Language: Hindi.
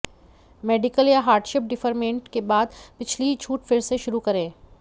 मेडिकल या हार्डशिप डिफरमेंट के बाद पिछली छूट फिर से शुरू करें